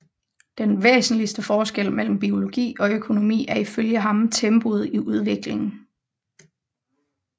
Den væsentligste forskel mellem biologi og økonomi er ifølge ham tempoet i udviklingen